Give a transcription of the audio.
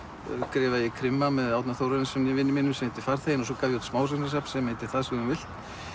skrifaði ég krimma með Árna Þórarinssyni vinum mínum sem heitir farþeginn og smásagnasafn sem heitir það sem þú vilt